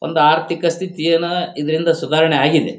ಒಂದಾ ಆರ್ಥಿಕ ಸ್ಥಿತಿಯಾನ ಇದರಿಂದ ಸುಧಾರಣೆ ಆಗಿದೆ.